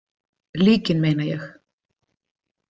Líkin meina ég.